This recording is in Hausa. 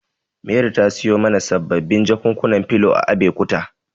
Mary ta siyo mana sababbin jakunkunan filo a Abekuta.